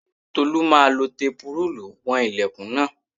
Tolú máa lọ fi tẹpurúùlù wọn ilẹ̀kùn náà